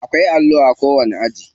Akwai allo a kowani aji.